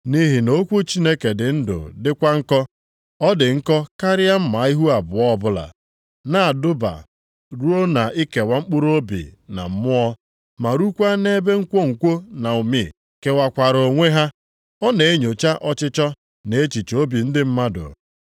Nʼihi na okwu Chineke dị ndụ dịkwa nkọ. Ọ dị nkọ karịa mma ihu abụọ ọbụla. Ọ na-adụba ruo na-ikewa mkpụrụobi na mmụọ, ma rukwaa na ebe nkwonkwo na ụmị kewakwara onwe ha. Ọ na-enyocha ọchịchọ na echiche obi ndị mmadụ.